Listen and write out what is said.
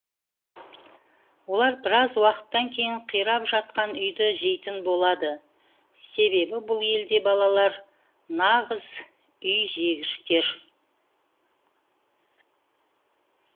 олар біраз уақыттан кейін қирап жатқан үйді жейтін болады себебі бұл елде балалар нағыз үй жегіштер